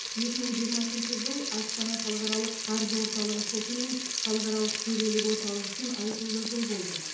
екі мың жиырмасыншы жыл астана халықаралық қаржы орталығы соты мен халықаралық төрелік орталығы үшін айтулы жыл болды